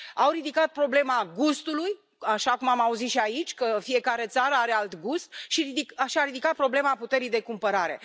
Au ridicat problema gustului așa cum am auzit și aici, că fiecare țară are alt gust și au ridicat problema puterii de cumpărare.